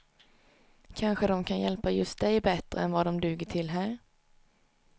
Kanske dom kan hjälpa just dig bättre än vad dom duger till här.